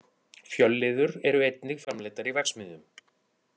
Fjölliður eru einnig framleiddar í verksmiðjum.